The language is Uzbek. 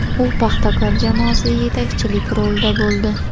U ‘Paxtakor’ jamoasida yetakchilik rolida bo‘ldi.